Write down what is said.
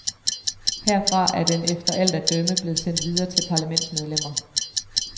Herfra er den efter alt at dømme blevet sendt videre til parlamentsmedlemmer.